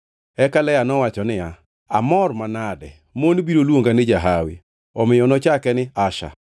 Eka Lea nowacho niya, “Amor manade! Mon biro luonga ni jahawi.” Omiyo nochake ni Asher. + 30:13 Asher tiende ni Mor.